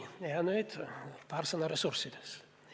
Ja nüüd paar sõna ressurssidest.